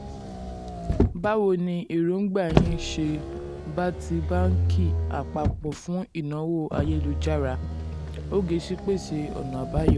báwo ni èròǹgbà yín ṣe um bá ti banki apapo fun ìnáwó ayélu-jára? um ogechi pese ọ̀nà àbáyọ